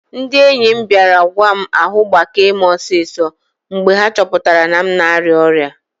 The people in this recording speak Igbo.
Ndị enyi m bịara gwa m ahu gbakee m osiso mgbe ha chọpụtara na m na-arịa ọrịa